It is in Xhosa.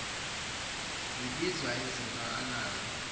zibizwa izinto anazo